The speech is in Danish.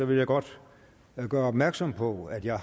vil jeg godt gøre opmærksom på at jeg